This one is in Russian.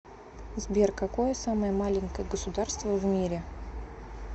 сбер какое самое маленькое государство в мире